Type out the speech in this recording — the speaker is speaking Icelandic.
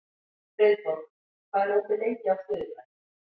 Friðborg, hvað er opið lengi á þriðjudaginn?